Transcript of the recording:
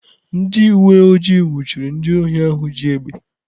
Ndị uwe ojii nwụchiri ndị ohi ahụ ji egbe.